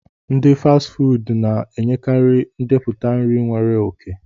Ndi Fasti fuudu na-enyekarị ndepụta nri nwere oke